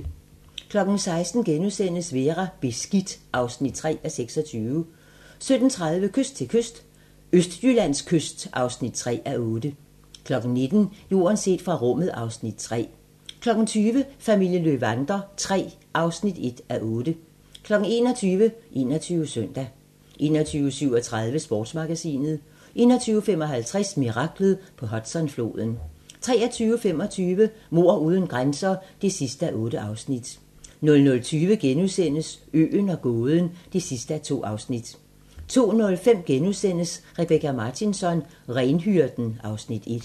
16:00: Vera: Beskidt (3:26)* 17:30: Kyst til kyst - Østjyllands kyst (3:8) 19:00: Jorden set fra rummet (Afs. 3) 20:00: Familien Löwander III (1:8) 21:00: 21 Søndag 21:37: Sportsmagasinet 21:55: Miraklet på Hudsonfloden 23:25: Mord uden grænser (8:8) 00:20: Øen og gåden (2:2)* 02:05: Rebecka Martinsson: Renhyrden (Afs. 1)*